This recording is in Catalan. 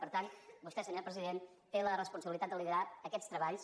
per tant vostè senyor president té la responsabilitat de liderar aquests treballs